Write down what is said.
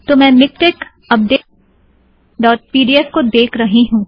तो मैं MiKTeX update dot पीडीऍफ़miktexupdateपीडीएफ को देख रही हूँ